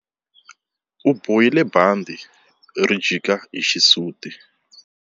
U bohile bandhi ri jika hi xisuti.